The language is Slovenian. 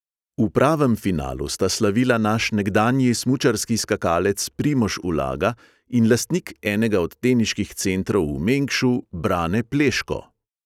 V pravem finalu sta slavila naš nekdanji smučarski skakalec primož ulaga in lastnik enega od teniških centrov v mengšu brane pleško.